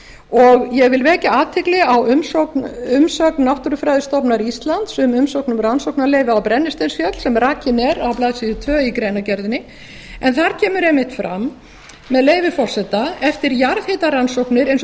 og ég vil vekja athygli á umsögn náttúrufræðistofnunar íslands um umsókn um rannsóknarleyfi á brennisteinsfjöll sem rakin er á blaðsíðu tvö í greinargerðinni en þar kemur einmitt fram með leyfi forseta eftir jarðhitarannsóknir eins og